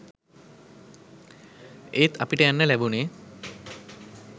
එත් අපිට යන්න ලැබුනේ